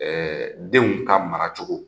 Ɛɛ denw ka mara cogo